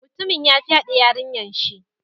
Mutumin ya fyade yarinyan shi.